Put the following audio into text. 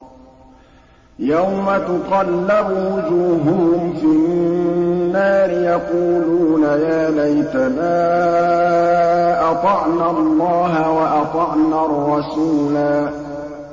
يَوْمَ تُقَلَّبُ وُجُوهُهُمْ فِي النَّارِ يَقُولُونَ يَا لَيْتَنَا أَطَعْنَا اللَّهَ وَأَطَعْنَا الرَّسُولَا